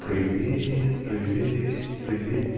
привет привет привет